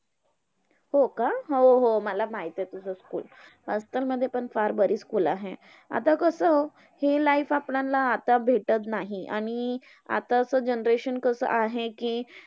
हो का? हो हो. मला माहित आहे तुझं school! मध्ये पण फार बरीच school आहे. आता कसं हे life आपल्याला आता भेटत नाही, आणि आताचं generation कसं आहे कि,